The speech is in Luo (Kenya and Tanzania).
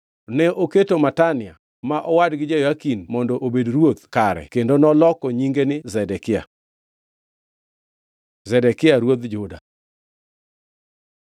Ne oketo Matania, ma owadgi Jehoyakin mondo obed ruoth kare kendo noloko nyinge ni Zedekia. Zedekia ruoth Juda